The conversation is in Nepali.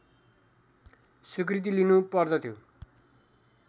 स्वीकृति लिनु पर्दथ्यो